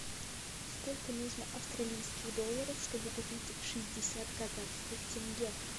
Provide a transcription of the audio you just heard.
сколько нужно австралийских долларов чтобы купить шестьдесят казахских тенге